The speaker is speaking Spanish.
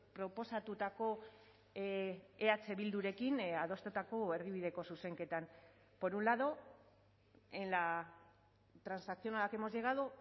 proposatutako eh bildurekin adostutako erdibideko zuzenketan por un lado en la transacción a la que hemos llegado